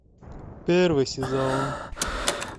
первый сезон